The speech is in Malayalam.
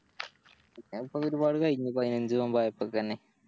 പിന്നിപ്പോ ഒരുപാട് കഴിഞ്ഞ് പതിനഞ്ച് നോമ്പ് ആയപ്പൾക്കന്നെ